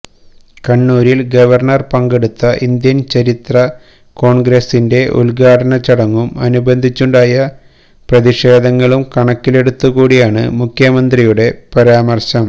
കണ്ണൂരിൽ ഗവർണർ പങ്കെടുത്ത ഇന്ത്യൻ ചരിത്രകോൺഗ്രസിന്റെ ഉദ്ഘാടനച്ചടങ്ങും അനുബന്ധിച്ചുണ്ടായ പ്രതിഷേധങ്ങളും കണക്കിലെടുത്ത് കൂടിയാണ് മുഖ്യമന്ത്രിയുടെ പരാമര്ശം